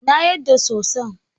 Na yarda soson.